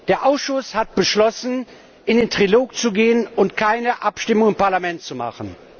Der Ausschuss hat beschlossen, in den Trilog zu gehen und keine Abstimmung im Parlament zu machen.